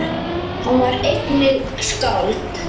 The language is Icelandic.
Hann var einnig skáld.